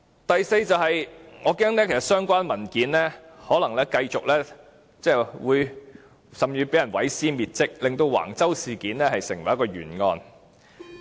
第四，我恐怕相關文件可能會被人毀屍滅跡，令橫洲事件成為一宗懸案。